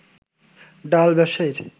ডাল ব্যবসায়ীর